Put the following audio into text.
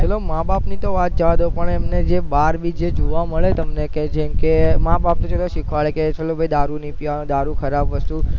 ચલો માબાપ ની વાત તો જવાદો પણ એમને જે પણ બાર બી જે જોવા મળે તમને કે જેમકે માબાપ એટલું શીખવાડે કે ચલો ભાઈ કે દારૂ નહીં પીવાનો દારૂ ખરાબ વસ્તુ